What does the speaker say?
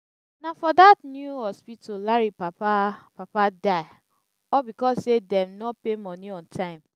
na for dat new hospital larry papa papa die all because say dem no pay money on time